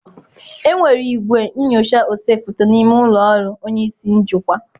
Enwere igwe nyochaa ose foto n'ime ụlọ ọrụ onye isi njikwa.